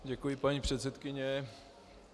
Děkuji, paní předsedkyně.